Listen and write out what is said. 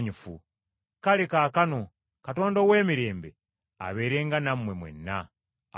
Kale kaakano Katonda ow’emirembe, abeerenga nammwe mwenna. Amiina.